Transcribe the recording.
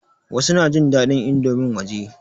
Wasu na jin daɗin indomin waje.